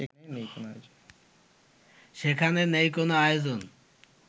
সেখানে নেই কোনো আয়োজন